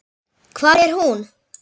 Hvar er hún?